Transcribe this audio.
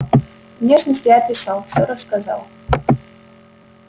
внешность я описал все рассказал